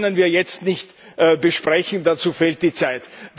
Die können wir jetzt nicht besprechen, dazu fehlt die Zeit.